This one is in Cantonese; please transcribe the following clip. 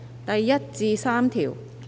第1至3條。